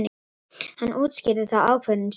Hann útskýrði þá ákvörðun sína.